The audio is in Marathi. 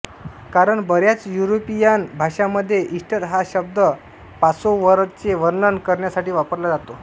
कारण बऱ्याच युरीपियान भाषांमध्ये ईस्टर हा शब्द पासोव्हरचे वर्णन करण्यासाठी वापरला जातो